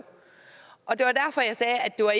det var